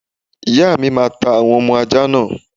Ìyáàmi máa ta àwọn ọmọ ajá náà.